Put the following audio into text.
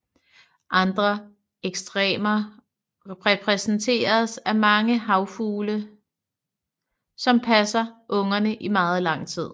Andre ekstremer repræsenteres af mange havfugle som passer ungerne i meget lang tid